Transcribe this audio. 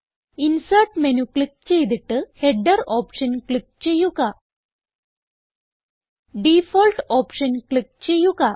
insert menu click ചെയ്തിട്ട് header option click ചെയ്യുക